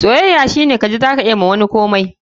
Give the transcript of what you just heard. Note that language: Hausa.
soyayya shine ji wani za ka iya masa komai har.